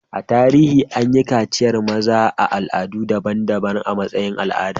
A tarihi, an yi kaciyar maza a al'adu daban-daban a matsayin al'ada.